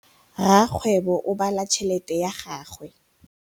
Rakgwêbô o bala tšheletê ya gagwe.